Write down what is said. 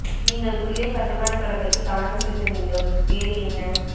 நீங்கள் குளியல் கட்டுமான தொடக்கத்தில் கவனம் செலுத்த வேண்டும் வேறு என்ன